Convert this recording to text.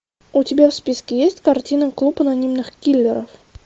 у тебя в списке есть картина клуб анонимных киллеров